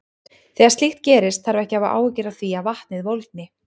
Þegar slíkt gerist þarf ekki að hafa áhyggjur af því að vatnið volgni.